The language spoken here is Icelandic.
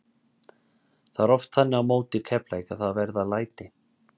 Það er oft þannig á móti Keflavík að það verða læti.